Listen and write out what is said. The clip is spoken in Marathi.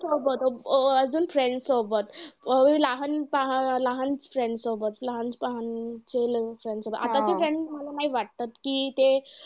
सोबत अं अजून friend सोबत लहान अं लहान पण friend सोबत लहान पण गेलं अं आताचे friend मला नाही वाटतं कि ते